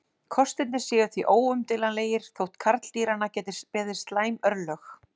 Kostirnir séu því óumdeilanlegir þótt karldýranna geti beði slæm örlög.